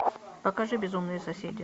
покажи безумные соседи